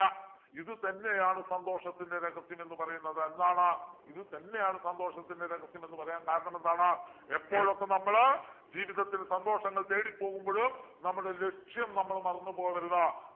ഇത് തന്നെയാണ് സന്തോഷത്തിൻ്റെ രഹസ്യം എന്ന് പറയുന്നത് എന്താണ് ഇത് തന്നെയാണ് സന്തോഷത്തിൻ്റെ രഹസ്യം എന്ന് പറയാൻ കാരണമെന്താണ് എപ്പോഴൊക്കെ നമ്മൾ ജീവിതത്തിൽ സന്തോഷം തേടിപ്പോകുമ്പോഴു നമ്മുടെ ലക്ഷ്യം നമ്മള് മറന്ന് പോകരുത്